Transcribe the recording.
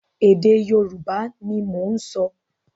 Èdè Yorùbá ni mò ń sọ.